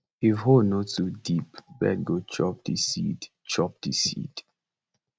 if hole no too deep bird go chop di seed chop di seed